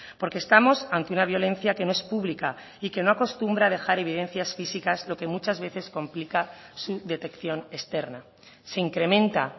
porque estamos ante una violencia que no es pública y que no acostumbra a dejar evidencias físicas lo que muchas veces complica su detección externa se incrementa